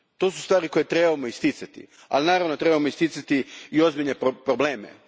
To su stvari koje trebamo isticati, ali naravno trebamo isticati i ozbiljne probleme.